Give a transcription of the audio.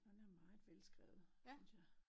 Og den er meget velskrevet synes jeg